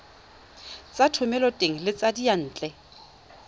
tsa thomeloteng le tsa diyantle